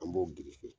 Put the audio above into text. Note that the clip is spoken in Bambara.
An b'o biriki